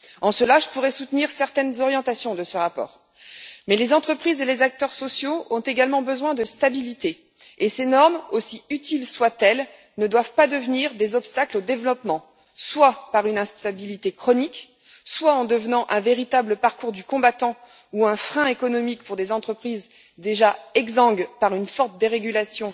En cela, je pourrais soutenir certaines orientations de ce rapport, mais les entreprises et les acteurs sociaux ont également besoin de stabilité, et ces normes, aussi utiles soient elles, ne doivent pas devenir des obstacles au développement, soit par une instabilité chronique, soit en devenant un véritable parcours du combattant ou un frein économique pour des entreprises déjà exsangues à cause d'une forte dérégulation